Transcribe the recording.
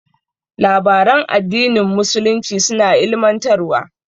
Labaran addinin musulunci suna ilimantarwa.